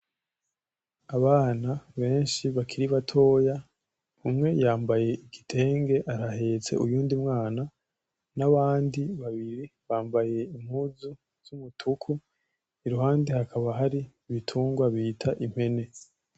Abana benshi bakiri batoya umwe yambaye igitenge arahetse uyundi mwana nabandi babiri bambaye impuzu z'umutuku iruhande hakaba hari ibitungwa bita impene.